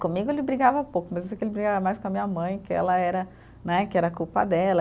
Comigo ele brigava pouco, mas eu sei que ele brigava mais com a minha mãe, que ela era, né, que era culpa dela.